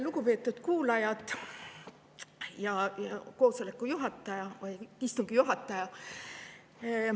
Lugupeetud kuulajad ja istungi juhataja!